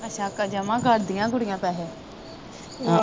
ਅੱਛਾ ਜਮਾ ਕਰਦੀਆਂ ਕੁੜੀਆਂ ਪੈਸੇ